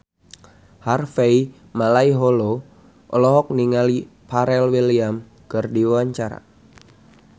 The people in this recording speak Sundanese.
Harvey Malaiholo olohok ningali Pharrell Williams keur diwawancara